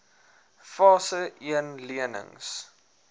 fase een lenings